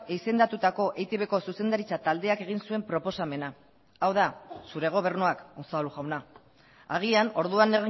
izendatutako eitbko zuzendaritza taldeak egin zuen proposamena hau da zure gobernuak unzalu jauna agian orduan